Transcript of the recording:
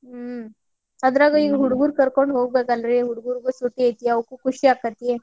ಹ್ಮ್ ಅದ್ರಾಗ ಈ ಹುಡಗುರ್ ಕರ್ಕೊಂಡ್ ಹೋಗ್ಬೇಕಲ್ರಿ ಹುಡಗುರ್ಗು ಸೂಟಿ ಐತಿ ಅವ್ಕು ಖುಷಿ ಆಕ್ಕೆತಿ.